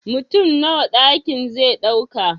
Mutum Nawa ɗakin ze ɗauka